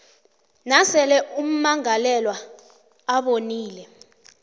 nasele ummangalelwa abonile